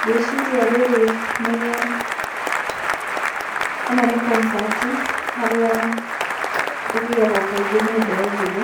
Ngwĩciria rĩrĩ nĩ, ĩno nĩ concert harĩa ĩthiagwo kaingĩ ni mbeũ njĩthĩ,